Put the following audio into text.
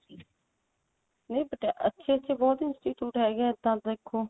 ਨਹੀਂ ਪਟਿਆਲੇ ਅੱਛੇ ਅੱਛੇ ਬਹੁਤ institute ਹੈਗਾ ਆ ਇੱਦਾਂ ਦੇਖੋ